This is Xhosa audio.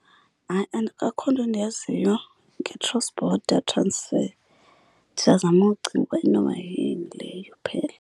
Hayi, akho nto ndiyaziyo nge-cross border transfer. Ndisazama ucinga uba inoba yini leyo phela.